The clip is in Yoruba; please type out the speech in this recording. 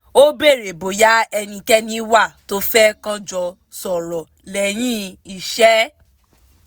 ó béèrè bóyá ẹnikẹ́ni wà tó fẹ́ kọ́ jọ sọ̀rọ̀ lẹ́yìn iṣẹ́